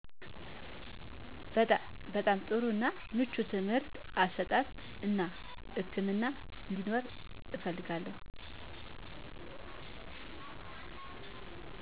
በጣም በጣም ጥሩ እና ምቹ ትምርህት አሰጣጥ እና ህክምና አንዴኖር እፈልጋለው